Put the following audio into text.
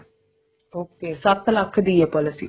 okay ਸੱਤ ਲੱਖ ਦੀ ਹੈ policy